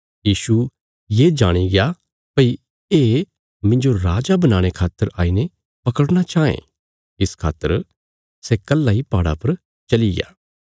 यीशु ये जाणिग्या भई ये मिन्जो राजा बनाणे खातर आई ने पकड़ना चाँये इस खातर सै कल्हा इ पहाड़ा पर चलीया